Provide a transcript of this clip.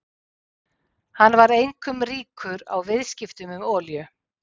Hann varð einkum ríkur á viðskiptum með olíu.